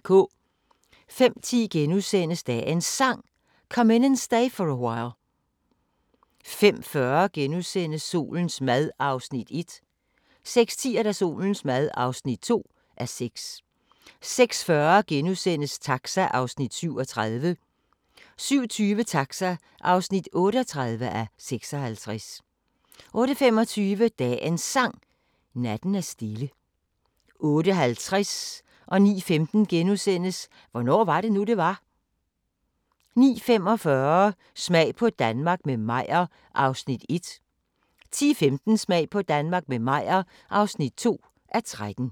05:10: Dagens Sang: Come In And Stay For A While * 05:40: Solens mad (1:6)* 06:10: Solens mad (2:6) 06:40: Taxa (37:56)* 07:20: Taxa (38:56) 08:25: Dagens Sang: Natten er stille 08:50: Hvornår var det nu, det var? * 09:15: Hvornår var det nu, det var? * 09:45: Smag på Danmark – med Meyer (1:13) 10:15: Smag på Danmark – med Meyer (2:13)